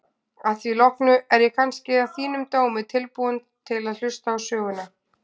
Að því loknu er ég kannski að þínum dómi tilbúinn til að hlusta á söguna.